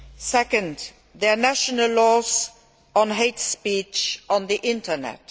Second, their national laws on hate speech on the Internet.